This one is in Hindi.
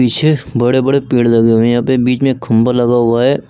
पीछे बड़े बड़े पेड़ लगे हुए हैं यहां पे बीच में एक खंभा लगा हुआ है।